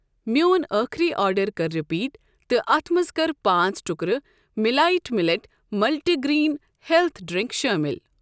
میٚون ٲخری آرڈر کر رِپیٖٹ تہٕ اتھ منٛز کر پانٛژ ٹُکرٕ millet millet multigrain health drink شٲمِل۔